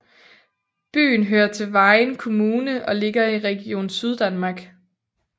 Byen hører til Vejen Kommune og ligger i Region Syddanmark